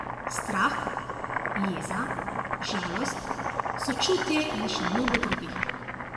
Strah, jeza, žalost, sočutje in še mnogo drugih.